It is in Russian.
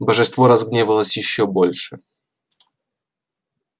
божество разгневалось ещё больше